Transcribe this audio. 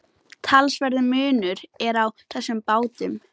Talsverður munur er á þessum bátum.